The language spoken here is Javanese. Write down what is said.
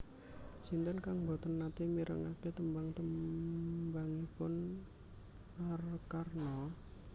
Sinten kang mboten nate mirengake tembang tembangipun Arkarna?